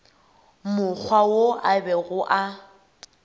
mokgwa wo a bego a